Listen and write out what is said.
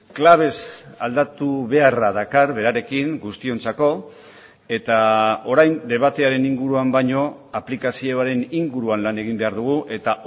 klabez aldatu beharra dakar berarekin guztiontzako eta orain debatearen inguruan baino aplikazioaren inguruan lan egin behar dugu eta